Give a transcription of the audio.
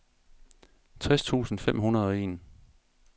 tres tusind fem hundrede og en